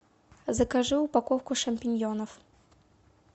закажи упаковку шампиньонов